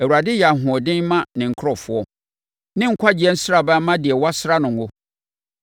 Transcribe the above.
Awurade yɛ ahoɔden ma ne nkurɔfoɔ; ne nkwagyeɛ nsraban ma deɛ wɔasra no ngo.